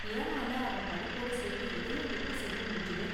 கியானால அவன் படிப்போட சேர்த்து இதையும் எப்படி செய்ய முடிஞ்சது?